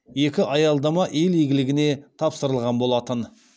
екі аялдама ел игілігіне тапсырылған болатын